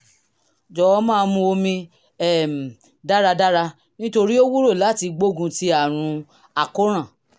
jọ̀wọ́ máa mu omi um dáradára nítorí ó wúlò láti gbógun ti àrùn àkóràn